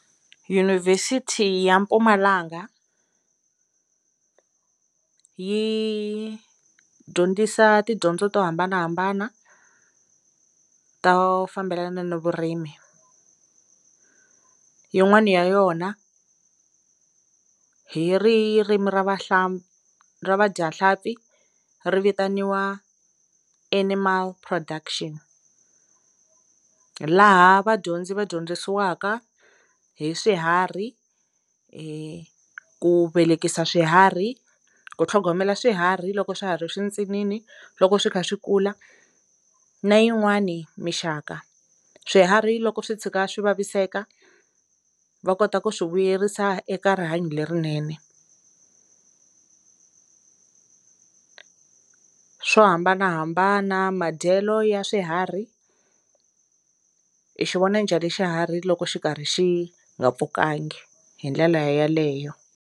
Dyunivhesiti ya Mpumalanga yi dyondzisa tidyondzo to hambanahambana to fambelana no vurimi yin'wani ya yona hi ririmi ra vahla ra vadyahlampfi ri vitaniwa animal production hi laha vadyondzi va dyondzisiwaka hi swiharhi hi ku velekisa swiharhi ku tlhogomela swiharhi loko swa ha ri swintsinini loko swi kha swi kula na yin'wani mixaka swiharhi loko swi tshuka swi vaviseka va kota ku swi vuyerisa eka rihanyo lerinene swo hambanahambana madyelo ya swiharhi hi xi vona njhani xiharhi loko xi karhi xi nga pfukangi hi ndlela yeleyo.